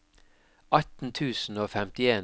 atten tusen og femtien